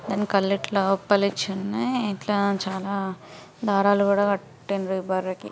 దాని కళ్ళు ఇట్లా ఉప్పలించి ఉన్నయ్. ఇట్లా చాలా దారాలు కూడా కట్టిండ్రు ఈ బర్రెకి.